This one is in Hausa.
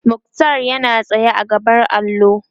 muktar yana tsaye a gaban allo